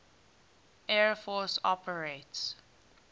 air force operates